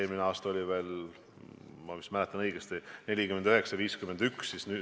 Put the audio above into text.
Eelmisel aastal see suhe oli veel, ma vist mäletan õigesti, 49 : 51.